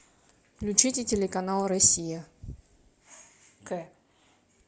включите телеканал россия к